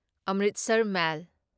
Amritsar ꯃꯦꯜ